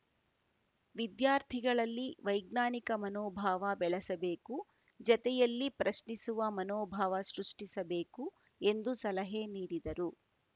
ವಿದ್ಯಾರ್ಥಿಗಳಲ್ಲಿ ವೈಜ್ಞಾನಿಕ ಮನೋಭಾವ ಬೆಳೆಸಬೇಕುಜತೆಯಲ್ಲಿ ಪ್ರಶ್ನಿಸುವ ಮನೋಭಾವ ಸೃಷ್ಟಿಸಬೇಕು ಎಂದು ಸಲಹೆ ನೀಡಿದರು